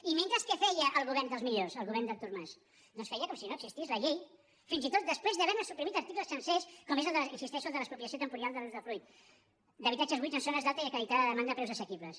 i mentrestant què feia el govern dels millors el govern d’artur mas doncs feia com si no existís la llei fins i tot després d’haverne suprimit articles sencers com és hi insisteixo el de l’expropiació temporal de l’usdefruit d’habitatges buits en zones d’alta i acreditada demanda a preus assequibles